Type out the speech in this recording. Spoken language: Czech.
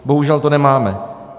Bohužel to nemáme.